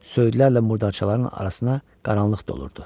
Söylərlə murdarçaların arasına qaranlıq dolurdu.